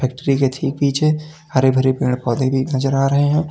Factory के ठीक पीछे हरे भरे पेड़ पौधे भी नजर आ रहे हैं।